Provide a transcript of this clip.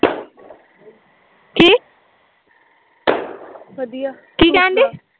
ਕੀ ਕਹਿਣ ਡਈ